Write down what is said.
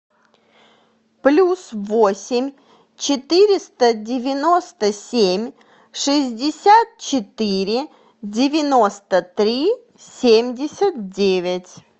плюс восемь четыреста девяносто семь шестьдесят четыре девяносто три семьдесят девять